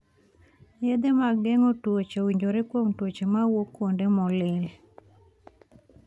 Yedhe mag geng'o tuoche owinjore kuom tuoche mawuok kuonde molil